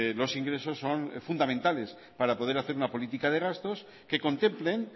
los ingresos son fundamentales para poder hacer una política de gastos que contemplen